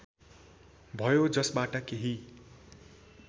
भयो जसबाट केही